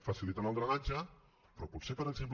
facilitant el drenatge però potser per exemple